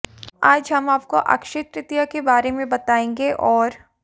आज हम आपको अश्रय तृतीया के बारे में बताएंगे और